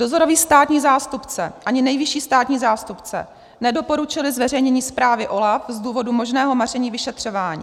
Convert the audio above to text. Dozorový státní zástupce ani nejvyšší státní zástupce nedoporučili zveřejnění zprávy OLAF z důvodu možného maření vyšetřování.